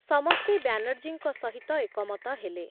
ସମସ୍ତେ ବ୍ୟାନର୍ଜୀଙ୍କ ସହିତ ଏକମତ ହେଲେ ।